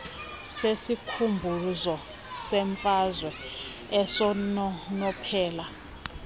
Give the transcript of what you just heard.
sesikhumbuzo semfazwe esinonophela